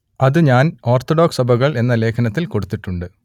അത് ഞാൻ ഓർത്തഡോക്സ് സഭകൾ എന്ന ലേഖനത്തിൽ കൊടുത്തിട്ടുണ്ട്